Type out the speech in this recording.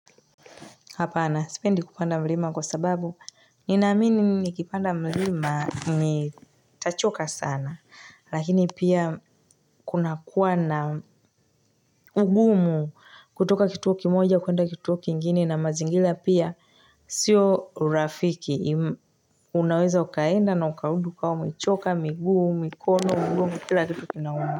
Hapana sipendi kupanda mlima kwa sababu ninaamini nikipanda mlima nitachoka sana lakini pia kuna kuwa na ugumu kutoka kituo kimoja kuenda kituo kingine na mazingira pia sio urafiki unaweza ukaenda na ukarudi ukiwa umechoka miguu mikono ugumu kila kitu kinauma.